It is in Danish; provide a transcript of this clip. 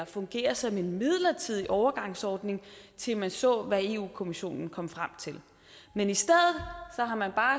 fungere som en midlertidig overgangsordning til man så hvad europa kommissionen kom frem til men i stedet har man bare